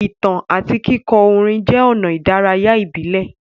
Ìtàn àti kíkọ orin jẹ́ ọ̀nà ìdárayá ìbílẹ̀.